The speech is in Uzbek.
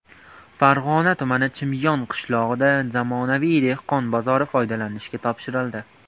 Farg‘ona tumani Chimyon qishlog‘ida zamonaviy dehqon bozori foydalanishga topshirildi.